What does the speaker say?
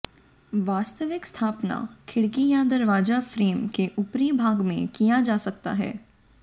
वास्तविक स्थापना खिड़की या दरवाजा फ्रेम के ऊपरी भाग में किया जा सकता है